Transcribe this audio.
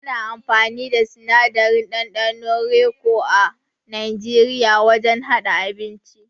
Ana amfani da sinadarin ɗanɗanon raico a Najeriya wajen haɗa abinci.